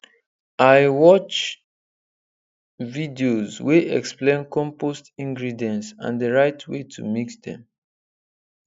i watch videos wey explain compost ingredients and the right way to mix dem